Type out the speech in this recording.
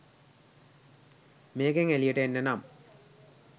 මේකෙන් එළියට එන්න නම්